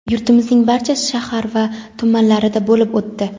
yurtimizning barcha shahar va tumanlarida bo‘lib o‘tdi.